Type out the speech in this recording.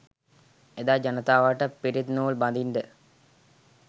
එදා ජනතාවට පිරිත් නූල් බඳින්ඩ